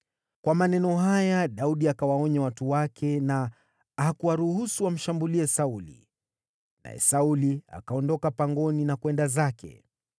Kwa maneno haya Daudi akawaonya watu wake na hakuwaruhusu wamshambulie Sauli. Naye Sauli akaondoka pangoni na kwenda zake.